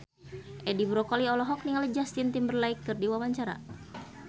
Edi Brokoli olohok ningali Justin Timberlake keur diwawancara